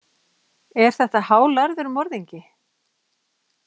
Er þetta hálærður morðingi?